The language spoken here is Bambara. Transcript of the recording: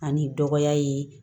Ani dɔgɔya ye